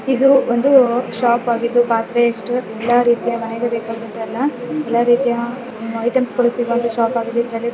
ಇದು ಒಂದು ಶಾಪ್ ಆಗಿದ್ದು ಪಾತ್ರೆ ಎಷ್ಟು ಎಲ್ಲ ರೀತಿಯ ಮನೆಗೆ ಬೆಕಾಗಿದ್ದ ಎಲ್ಲಾ ಎಲ್ಲಾ ರಿತಿಯ ಐತಮ್ಸ ಗಳು ಸಿಗುವಂತಹ ಶಾಪಾಗಿದೆ --